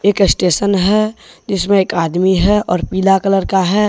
एक स्टेशन है जिसमें एक आदमी है और पीला कलर का है।